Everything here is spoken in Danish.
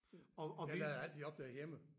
Den den er altid opladt hjemme